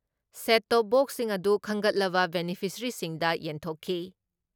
Set top ꯕꯣꯛꯁꯤꯡ ꯑꯗꯨ ꯈꯟꯒꯠꯂꯕ ꯕꯦꯅꯤꯐꯤꯁꯔꯤꯁꯤꯡꯗ ꯌꯦꯟꯊꯣꯛꯈꯤ ꯫